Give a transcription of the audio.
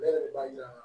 Ne yɛrɛ b'a yira